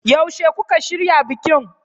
Yaushe kuka shirya bikin?